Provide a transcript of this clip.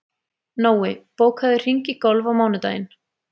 Nói, bókaðu hring í golf á mánudaginn.